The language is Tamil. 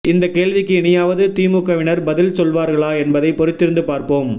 இந்த கேள்விக்கு இனியாவது திமுகவினர் பதில் சொல்வார்களா என்பதை பொறுத்திருந்து பார்ப்போம்